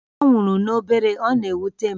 Ọ nwụrụ n'obere, ọ na-ewute m